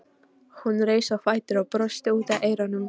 Hún reis á fætur og brosti út að eyrum.